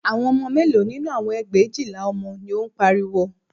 Àwọn ọmọ mélòó nínú àwọn ẹgbẹ̀éjìlá ọmọ ni ó ń pariwo